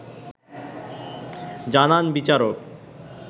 জানান বিচারক